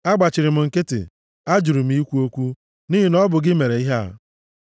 Agbachiri m nkịtị, ajụrụ m ikwu okwu, nʼihi na ọ bụ gị mere ihe a.